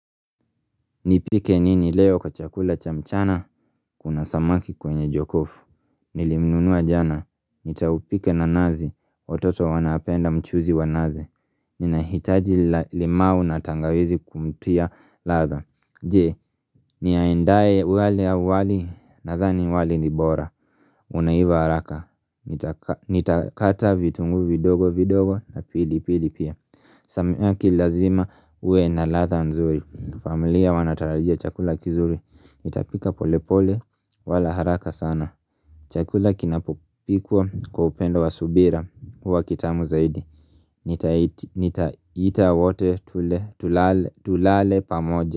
Nipike nini leo kwa chakula cha mchana? Kuna samaki kwenye jokofu Nilimnunua jana, nitaupika na nazi. Watoto wanapenda mchuzi wa nazi Ninahitaji limao na tangawizi kumtia ladha Je, niandae wali awali? Nadhani wali ni bora Unaiva haraka, nitakata vitunguu vidogo vidogo na pilipili pia Samaki ni lazima uwe na ladha nzuri. Familia wanatarajia chakula kizuri. Nitapika polepole wala haraka sana Chakula kinapopikwa kwa upendo wa subira huwa kitamu zaidi Nitaita wote tule, tulale pamoja.